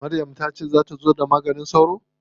Maryam ta ce za ta zo da maganin sauron?